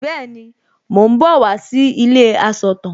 Bẹ́ẹ̀ni, mò ń bọ̀ wá sí ilé asọ̀tàn